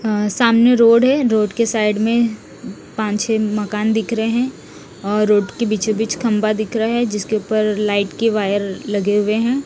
अ सामने रोड है रोड के साइड में पांच छः मकान दिख रहे हैं और रोड के बीचों बीच एक खंभा दिख रहा है जिसके ऊपर लाइट के वायर लगे हुए हैं।